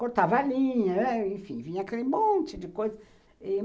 Cortava a linha, enfim, vinha aquele monte de coisa.